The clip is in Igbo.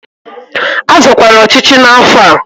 A zọkwara ọchịchị n'afọ a!